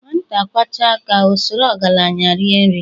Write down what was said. Nwata kwachaa aka, o soro ọgalanya riee nri.